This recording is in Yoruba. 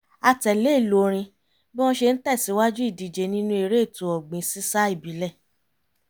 a tẹ̀lé ìlù orin bí wọ́n ṣe ń tẹ̀sìwájú ìdíje nínú eré ètò ọ̀gbìn sísá ìbílẹ̀